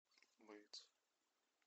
боец